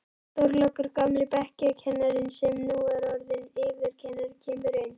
Þorlákur, gamli bekkjarkennarinn sem nú er orðinn yfirkennari, kemur inn.